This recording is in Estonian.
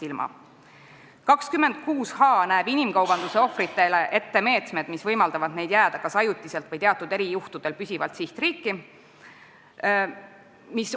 Punkt 26h näeb inimkaubanduse ohvritele ette meetmed, mis võimaldavad neil kas ajutiselt või erijuhtudel püsivalt sihtriiki jääda.